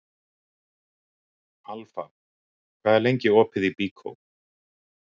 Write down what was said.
Alfa, hvað er lengi opið í Byko?